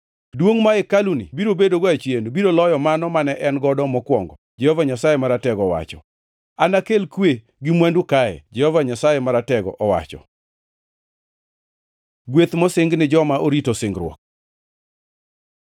‘Duongʼ ma hekaluni biro bedogo achien, biro loyo mano mane en godo mokwongo,’ Jehova Nyasaye Maratego owacho. ‘Anakel kwe gi mwandu kae,’ Jehova Nyasaye Maratego owacho.” Gweth mosing ni joma orito singruok